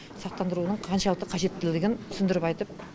сақтандырудың қаншалықты қажеттілігін түсіндіріп айтып